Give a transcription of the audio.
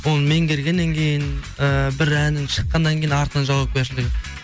оны меңгергеннен кейін ііі бір әнің шыққаннан кейін артынан жауапкершілігі